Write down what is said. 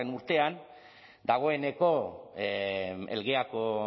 urtean dagoeneko elgeako